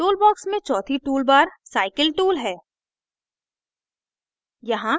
toolbox में चौथी toolbar cycle tool है